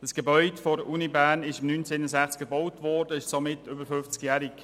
Das Gebäude der Universität Bern wurde im Jahr 1961 gebaut, und es ist somit über 50-jährig.